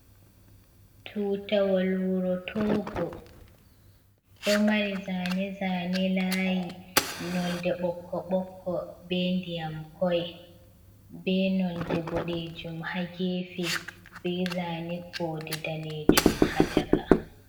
Tutawol wuro Togo ɗo mari zane-zane layi nolde ɓokko-ɓokko, be ndiyam koi, be nolde boɗejum ha gefe, be zane kode danejum ha caka.